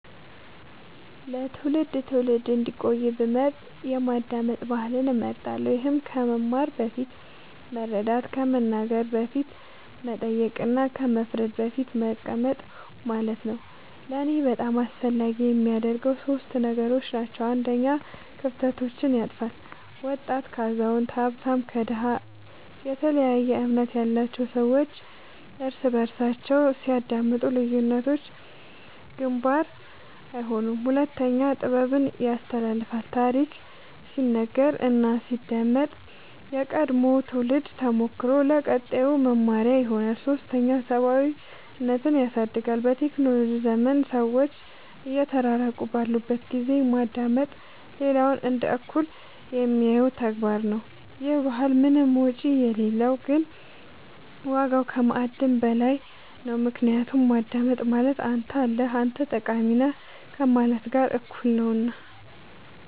ለትውልድ ትውልድ እንዲቆይ ብመርጥ የማዳመጥ ባህልን እመርጣለሁ ይህም ከማስተማር በፊት መረዳት ከመናገር በፊት መጠየቅ እና ከመፍረድ በፊት መቀመጥ ማለት ነው ለእኔ በጣም አስፈላጊ የሚያደርገው ሶስት ነገሮች ናቸው አንደኛ ክፍተቶችን ያጥፋል ወጣት ከአዛውንት ሀብታም ከድሃ የተለያየ እምነት ያላቸው ሰዎች እርስ በርሳቸው ሲያዳምጡ ልዩነቶች ግንባር አይሆኑም ሁለተኛ ጥበብን ያስተላልፋል ታሪክ ሲነገር እና ሲዳመጥ የቀድሞው ትውልድ ተሞክሮ ለቀጣዩ መመሪያ ይሆናል ሶስተኛ ሰብአዊነትን ያድሳል በቴክኖሎጂ ዘመን ሰዎች እየተራራቁ ባሉበት ጊዜ ማዳመጥ ሌላውን እንደ እኩል የሚያየው ተግባር ነው ይህ ባህል ምንም ወጪ የሌለው ግን ዋጋው ከማዕድን በላይ ነው ምክንያቱም ማዳመጥ ማለት አንተ አለህ አንተ ጠቃሚ ነህ ከማለት ጋር እኩል ነውና